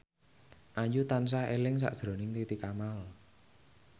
Ayu tansah eling sakjroning Titi Kamal